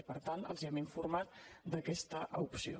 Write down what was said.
i per tant els hem informat d’aquesta opció